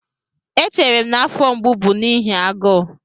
Echere m na afọ mgbu bụ n'ihi agụụ